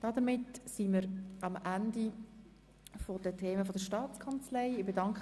Damit haben wir die Geschäfte der Staatskanzlei zu Ende beraten.